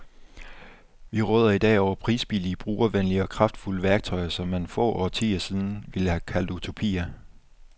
Vi råder i dag over prisbillige, brugervenlige og kraftfulde værktøjer, som man for få årtier siden ville have kaldt utopier.